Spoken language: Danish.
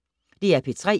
DR P3